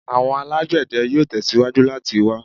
Awọn alagbẹdẹ yoo tẹsiwaju lati wa